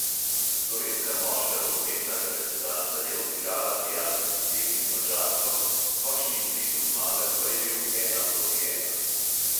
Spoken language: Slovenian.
Slovenska moška rokometna reprezentanca je odigrala prijateljski tekmi z madžarsko, končni izid v zmagah pa je bil ena proti ena.